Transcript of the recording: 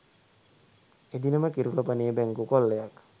එදිනම කිරුළපනේ බැංකු කොල්ලයක්